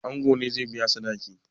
Ango ne zai biya sadaki?